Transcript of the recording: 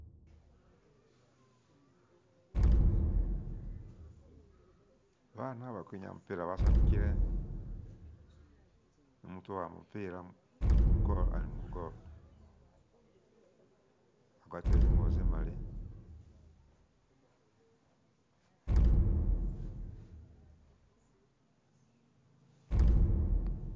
Baana balikwinyaa mupila basanyukile mutu uwaamba mupila mugolo alimugolo wagwatile zingubo zimali